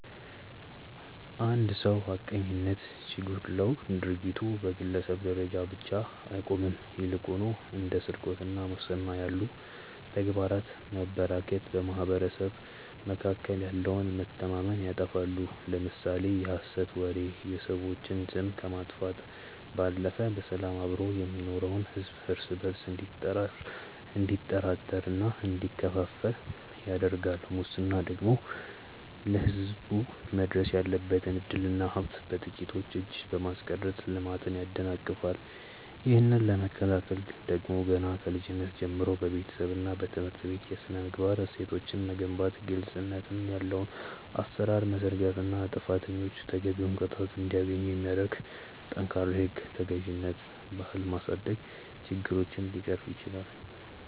አንድ ሰው ሐቀኝነት ሲጎድለው ድርጊቱ በግለሰብ ደረጃ ብቻ አይቆምም ይልቁንም እንደ ስርቆትና ሙስና ያሉ ተግባራት መበራከት በማኅበረሰቡ መካከል ያለውን መተማመን ያጠፋሉ። ለምሳሌ የሐሰት ወሬ የሰዎችን ስም ከማጥፋቱም ባለፈ በሰላም አብሮ የሚኖረውን ሕዝብ እርስ በእርሱ እንዲጠራጠርና እንዲከፋፈል ያደርጋል ሙስና ደግሞ ለሕዝብ መድረስ ያለበትን ዕድልና ሀብት በጥቂቶች እጅ በማስቀረት ልማትን ያደናቅፋል። ይህንን ለመከላከል ደግሞ ገና ከልጅነት ጀምሮ በቤተሰብና በትምህርት ቤት የሥነ-ምግባር እሴቶችን መገንባት ግልጽነት ያለው አሠራር መዘርጋትና ጥፋተኞች ተገቢውን ቅጣት እንዲያገኙ የሚያደርግ ጠንካራ የሕግ ተገዥነት ባህል ማሳደግ ችግሮችን ሊቀርፍ ይችላል።